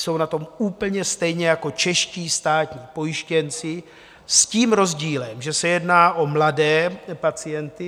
Jsou na tom úplně stejně jako čeští státní pojištěnci s tím rozdílem, že se jedná o mladé pacienty.